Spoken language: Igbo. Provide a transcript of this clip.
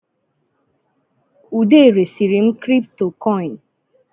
Ude resiri m kripitokoini